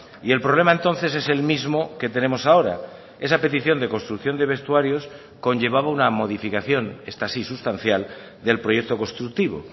y el problema entonces es el mismo que tenemos ahora esa petición de construcción de vestuarios conllevaba una modificación esta sí sustancial del proyecto constructivo